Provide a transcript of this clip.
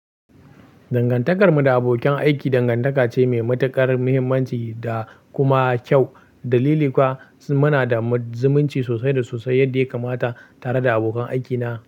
Dangantakarmu da abokan aiki dangantaka ce mai matuƙar muhimmanci da kuma kyau. Dalili kuwa muna da zumunci sosai da sosai yadda ya kamata tare da abokan aikina.